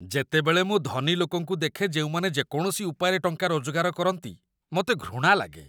ଯେତେବେଳେ ମୁଁ ଧନୀ ଲୋକଙ୍କୁ ଦେଖେ ଯେଉଁମାନେ ଯେକୌଣସି ଉପାୟରେ ଟଙ୍କା ରୋଜଗାର କରନ୍ତି, ମୋତେ ଘୃଣା ଲାଗେ